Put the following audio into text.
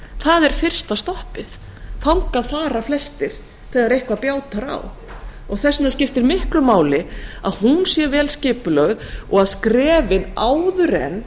það er fyrsta stoppið þangað fara flestir þegar eitthvað bjátar á þess vegna skiptir miklu máli að hún sé vel skipulögð og að skrefin áður en